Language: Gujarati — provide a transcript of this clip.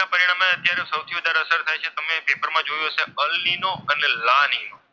અસર થાય છે. તમે પેપરમાં જોયું હશે. અલ્નીનો અને લાનીનો.